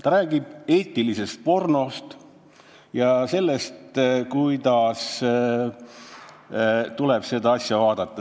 See räägib eetilisest pornost ja sellest, kuidas tuleb selliseid asju vaadata.